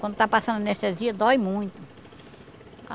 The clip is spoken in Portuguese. Quando está passando anestesia, dói muito.